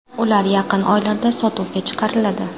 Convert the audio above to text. Ular yaqin oylarda sotuvga chiqariladi.